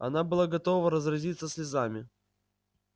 она была готова разразиться слезами